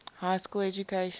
high school education